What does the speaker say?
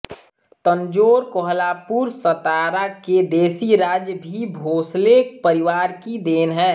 तंजोर कोल्हापुर सतारा के देशी राज्य भी भोंसले परिवार की देन हैं